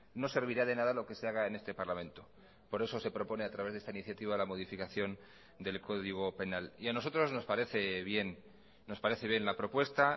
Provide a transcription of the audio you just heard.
no servirá de nada lo que se haga en este parlamento por eso se propone a través de esta iniciativa la modificación del código penal y a nosotros nos parece bien nos parece bien la propuesta